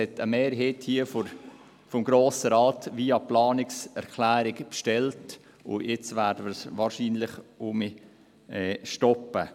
Eine Mehrheit des Grossen Rates hat dies via Planungserklärung bestellt, und jetzt werden wir es wahrscheinlich wieder stoppen.